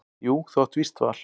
Jú þú átt víst val.